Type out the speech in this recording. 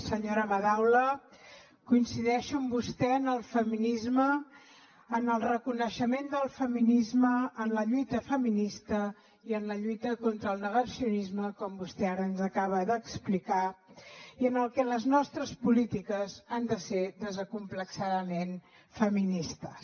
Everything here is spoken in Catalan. senyora madaula coincideixo amb vostè en el feminisme en el reconeixement del feminisme en la lluita feminista i en la lluita contra el negacionisme com vostè ara ens acaba d’explicar i en que les nostres polítiques han de ser desacomplexadament feministes